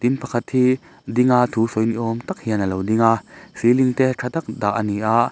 mi pakhat hi ding a thu sawi ni awm tak hian alo ding a celing te tha tak dah a ni a.